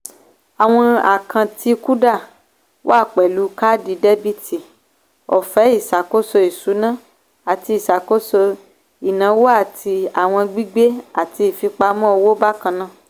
àwọn àkántì kuda wà pẹlú káàdì dẹ́bìtì ọ̀fẹ́ ìṣàkóso ìṣúná àti ìṣàkóso ìnáwó àti àwọn gbigbe àti ìfipamọ́ owó bákannáà